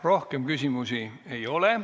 Rohkem küsimusi ei ole.